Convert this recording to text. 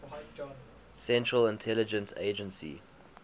central intelligence agency